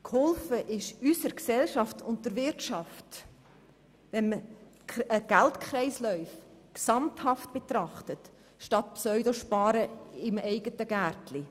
Geholfen ist unserer Gesellschaft und der Wirtschaft, wenn man Geldkreisläufe gesamthaft betrachtet, statt im eigenen Gärtchen «pseudozusparen».